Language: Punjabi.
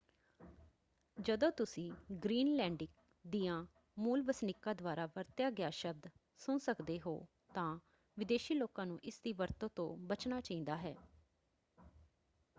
ਜਦੋਂ ਤੁਸੀਂ ਗ੍ਰੀਨਲੈਂਡਿਕ ਦਿਆਂ ਮੂਲ ਵਸਨੀਕਾਂ ਦੁਆਰਾ ਵਰਤਿਆ ਗਿਆ ਸ਼ਬਦ ਸੁਣ ਸਕਦੇ ਹੋ ਤਾਂ ਵਿਦੇਸ਼ੀ ਲੋਕਾਂ ਨੂੰ ਇਸ ਦੀ ਵਰਤੋਂ ਤੋਂ ਬਚਨਾ ਚਾਹੀਦਾ ਹੈ।